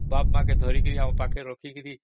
ବାପା ମା ଙ୍କୁ ଧରିକି ପାଖରେ ରଖିକି